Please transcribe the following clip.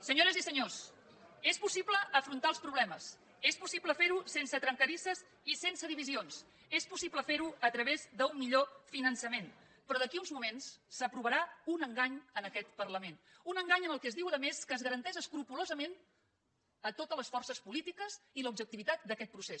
senyores i senyors és possible afrontar els problemes és possible fer ho sense tren cadisses i sense divisions és possible fer ho a través d’un millor finançament però d’aquí uns moments s’aprovarà un engany en aquest parlament un engany en què es diu a més que es garanteixen escrupolosament totes les forces polítiques i l’objectivitat d’aquest procés